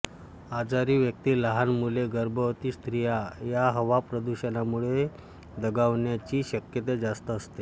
आजारी व्यक्ती लहान मुले गर्भवती स्त्रिया या हवा प्रदूषणामुळे दगावण्याची शक्यता जास्त असते